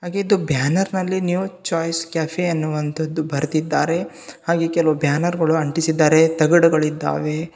ಹಾಗೆ ಇದು ಬ್ಯಾನರ್ ನಲ್ಲಿ ನ್ಯೂ ಚಾಯ್ಸ್ ಕೆಫೆ ಎನ್ನುವಂತದ್ದು ಬರ್ದಿದ್ದಾರೆ ಹಾಗೆ ಕೆಲವು ಬ್ಯಾನರ್ಗಳು ಅಂಟಿಸಿದ್ದಾರೆ ತಗಡುಗಳಿದ್ದಾವೇ.